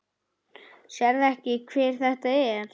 Sérðu ekki hver þetta er?